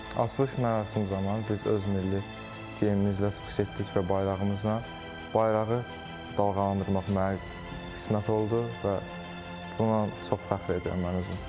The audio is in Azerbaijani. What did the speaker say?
Açılış mərasimi zamanı biz öz milli geyimimizlə çıxış etdik və bayrağımıza bayrağı dalğalandırmaq mənə qismət oldu və buna çox fəxr edirəm mən özüm.